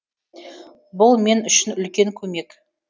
бұл мен үшін үлкен көмек